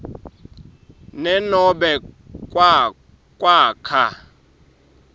ne nobe kwakha